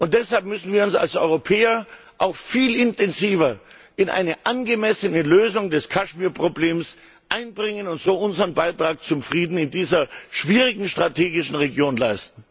Deshalb müssen wir uns als Europäer auch viel intensiver in eine angemessene Lösung des Kaschmirproblems einbringen und so unseren Beitrag zum Frieden in dieser strategisch schwierigen Region leisten.